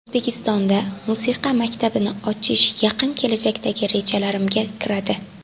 O‘zbekistonda musiqa maktabini ochish yaqin kelajakdagi rejalarimga kiradi.